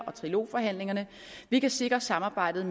og trilog forhandlingerne vi kan sikre samarbejdet